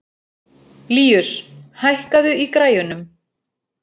Líus, hækkaðu í græjunum.